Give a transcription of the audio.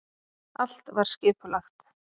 Allt var skipulagt.